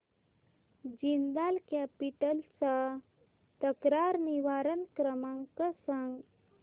Jindal capital चा तक्रार निवारण क्रमांक सांग